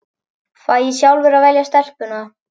Fæ ég sjálfur að velja stelpuna?